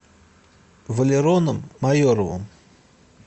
валероном майоровым